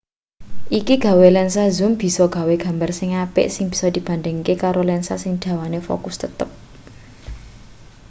iki gawe lensa zoom bisa gawe gambar sing apik sing bisa dibandhingke karo lensa sing dawane fokus tetep